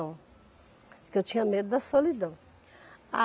Porque eu tinha medo da solidão. A